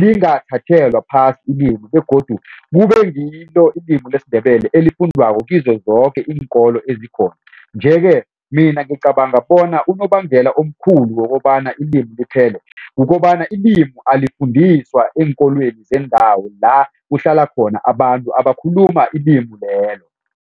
lingathathelwa phasi ilimi begodu kube ngilo ilimi lesiNdebele elifundiwako kizo zoke iinkolo ezikhona. Nje-ke mina ngicabanga bona unobangela omkhulu kokobana ilimu liphele kukobana ilimu elalifundiswa eenkolweni zendawo la kuhlala khona abantu abakhuluma ilimu lelo.